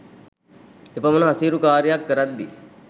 එපමන අසීරු කාරියක් කරද්දී